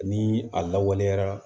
Ni a lawaleyara